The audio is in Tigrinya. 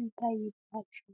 እንታይ ይብሃል ሽሙ?